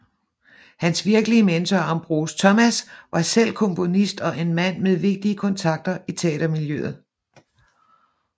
Hans virkelige mentor Ambroise Thomas var selv komponist og en mand med vigtige kontakter i teatermiljøet